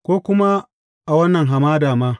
Ko kuma a wannan hamada ma!